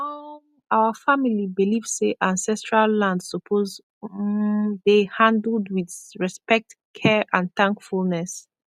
um our family believe say ancestral land suppose um dey handled with respect care and thankfulness